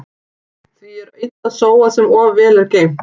Því er illa sóað sem of vel er geymt.